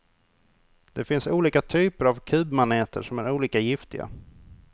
Det finns olika typer av kubmaneter som är olika giftiga.